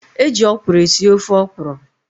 E ji ọkwụrụ esi ofe ọkwụrụ.